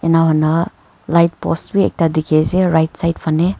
ena hoi na light post b ekta dikhi ase right side phane.